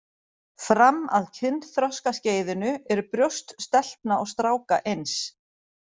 Fram að kynþroskaskeiðinu eru brjóst stelpna og stráka eins.